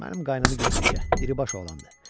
Mənim qaynımı götür işə, diribaş oğlandı.